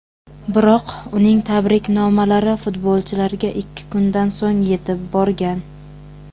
Biroq uning tabriknomalari futbolchilarga ikki kundan so‘ng yetib borgan.